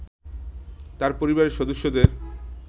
তার পরিবারের সদস্যদের